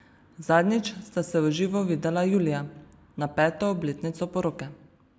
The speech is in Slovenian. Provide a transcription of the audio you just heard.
Zadnjič sta se v živo videla julija na peto obletnico poroke.